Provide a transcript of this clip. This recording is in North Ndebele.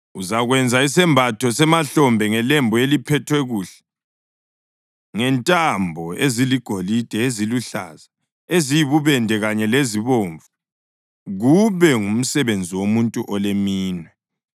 “Uzakwenza isembatho semahlombe ngelembu eliphethwe kuhle ngentambo eziligolide, eziluhlaza, eziyibubende kanye lezibomvu, kube ngumsebenzi womuntu oleminwe.